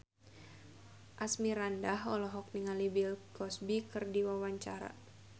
Asmirandah olohok ningali Bill Cosby keur diwawancara